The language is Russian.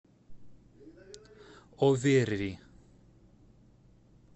оверри